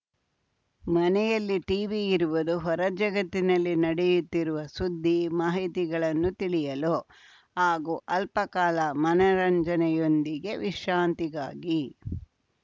ಮನೆಯಲ್ಲಿ ಟಿವಿ ಇರುವುದು ಹೊರಜಗತ್ತಿನಲ್ಲಿ ನಡೆಯುತ್ತಿರುವ ಸುದ್ದಿ ಮಾಹಿತಿಗಳನ್ನು ತಿಳಿಯಲು ಹಾಗೂ ಅಲ್ಪಕಾಲ ಮನರಂಜನೆಯೊಂದಿಗೆ ವಿಶ್ರಾಂತಿಗಾಗಿ